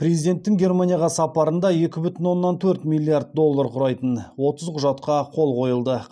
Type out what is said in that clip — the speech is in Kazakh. президенттің германияға сапарында екі бүтін оннан төрт миллиард доллар құрайтын отыз құжатқа қол қойылды